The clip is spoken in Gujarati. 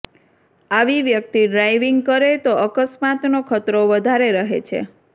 આવી વ્યક્તિ ડ્રાઇવિંગ કરે તો અકસ્માતનો ખતરો વધારે રહે છે